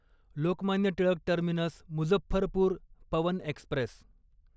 Lokmanya Tilak terminus Muzaffarpur Pawan Express